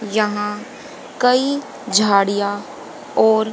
यहां कई झाड़ियां और--